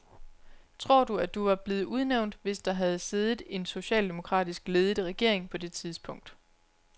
Tror du, at du var blevet udnævnt, hvis der havde siddet en socialdemokratisk ledet regering på det tidspunkt?